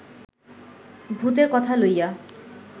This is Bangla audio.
ভূতের কথা লইয়া